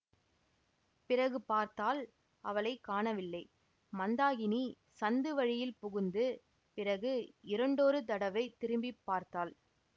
பிறகு பார்த்தால் அவளை காணவில்லை மந்தாகினி சந்து வழியில் புகுந்து பிறகு இரண்டொரு தடவை திரும்பி பார்த்தாள்